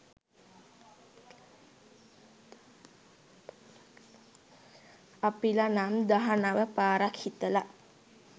අපිලා නම් දහනව පාරක් හිතලා